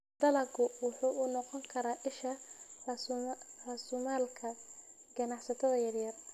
Dalaggu wuxuu u noqon karaa isha raasumaalka ganacsatada yar yar.